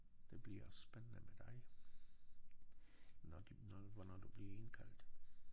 Det bliver også spændende med dig. Når de når hvornår du bliver indkaldt